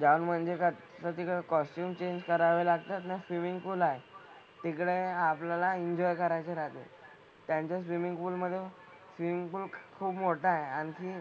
जाऊन म्हणजे कसं तिकडे costume change करावे लागतात ना swimming pool आहे. तिकडे आपल्याला enjoy करायचे राहते. त्यांच्या swimming pool मधे swimming pool खूप मोठा आहे आणि